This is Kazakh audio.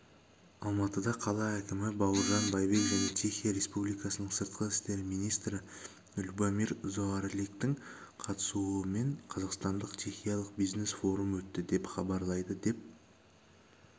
алматыда қала әкімі баурыжан байбек және чехия республикасының сыртқы істер министрі любомир заоралектің қатысуымен қазақстандық-чехиялық бизнес фрум өтті деп хабарлайды деп